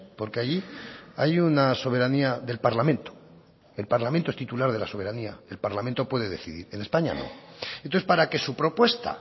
porque allí hay una soberanía del parlamento el parlamento es titular de la soberanía el parlamento puede decidir en españa no entonces para que su propuesta